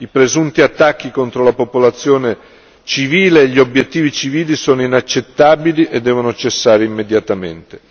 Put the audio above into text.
I presunti attacchi contro la popolazione civile e gli obiettivi civili sono inaccettabili e devono cessare immediatamente.